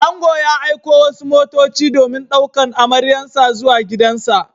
Ango ya aiko wasu motoci domin ɗaukan amaryarsa zuwa gidansa.